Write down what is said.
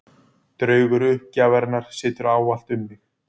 Draugur uppgjafarinnar situr ávallt um þig.